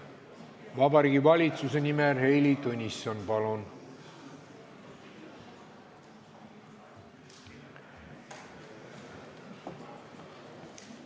Vabariigi Valitsuse nimel Heili Tõnisson, palun!